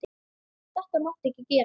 Þetta máttu ekki gera.